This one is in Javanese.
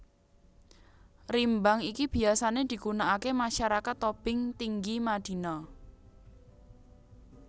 Rimbang iki biyasané digunakaké masyarakat Tobing Tinggi Madina